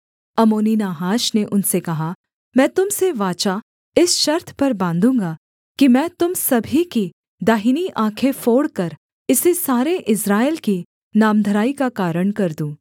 अम्मोनी Nahash ने उनसे कहा मैं तुम से वाचा इस शर्त पर बाँधूँगा कि मैं तुम सभी की दाहिनी आँखें फोड़कर इसे सारे इस्राएल की नामधराई का कारण कर दूँ